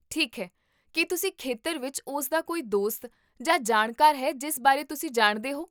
ਠੀਕ ਹੈ, ਕੀ ਉਸ ਖੇਤਰ ਵਿੱਚ ਉਸ ਦਾ ਕੋਈ ਦੋਸਤ ਜਾਂ ਜਾਣਕਾਰ ਹੈ ਜਿਸ ਬਾਰੇ ਤੁਸੀਂ ਜਾਣਦੇ ਹੋ?